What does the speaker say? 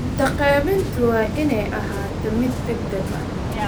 Cunto qaybintu waa inay ahaataa mid degdeg ah.